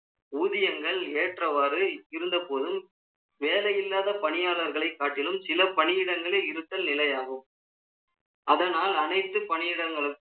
ஊதியங்கள் ஏற்றவாறு இருந்த போதும், வேலை இல்லாத பணியாளர்களை காட்டிலும், சில பணியிடங்களே இருத்தல் நிலையாகும் அதனால், அனைத்து பணியிடங்களுக்கும்